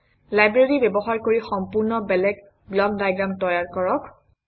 library ব্যৱহাৰ কৰি সম্পূৰ্ণ বেলেগ ব্লক ডায়েগ্ৰাম তৈয়াৰ কৰক